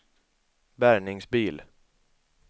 bärgningsbil